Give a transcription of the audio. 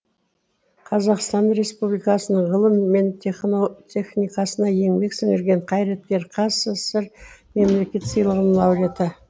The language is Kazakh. қазақстан республикасының ғылым мен техникасына еңбек сіңірген қайраткер қазсср мемлекеттік сыйлығының лауреаты